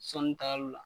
Sɔnni tagali la